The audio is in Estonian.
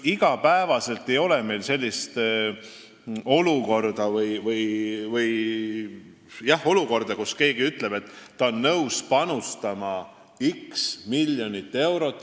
Iga päev ei ole meil sellist olukorda, kus keegi ütleb, et ta on nõus panustama x miljonit eurot.